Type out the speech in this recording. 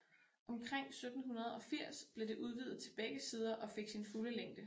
Omkring 1780 blev det udvidet til begge sider og fik sin fulde længde